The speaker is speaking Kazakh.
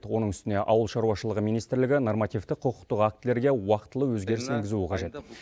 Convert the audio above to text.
оның үстіне ауыл шаруашылығы министрлігі нормативтік құқықтық актілерге уақытылы өзгеріс енгізуі қажет